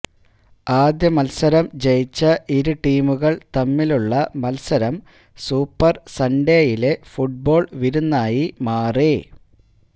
ആദ്യ മത്സരം ജയിച്ച ഇരുടീമുകള് തമ്മിലുള്ള മത്സരം സൂപ്പര് സണ്ഡേയിലെ ഫുട്ബോള് വിരുന്നായി മാറി